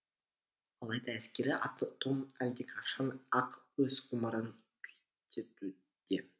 алайда әскери атом әлдеқашан ақ өз ғұмырын күйттеуде